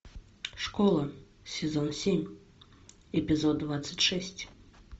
школа сезон семь эпизод двадцать шесть